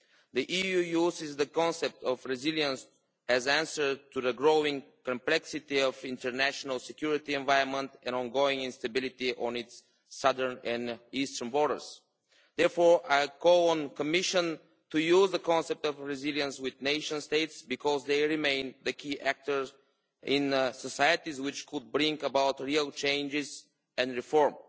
The EU uses the concept of resilience as an answer to the growing complexity of the international security environment and the ongoing instability on its southern and eastern borders. Therefore, I call on the Commission to use the concept of resilience with nation states because they remain the key actors in societies capable of bringing about real changes and reform.